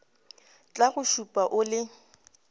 tla go šupa o le